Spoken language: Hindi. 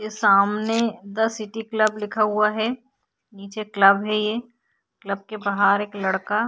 ये सामने द सिटी क्लब लिखा हुआ है नीचे क्लब है ये क्लब के बाहर एक लड़का --